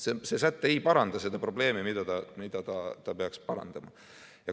See säte ei paranda seda probleemi, mida ta peaks parandama.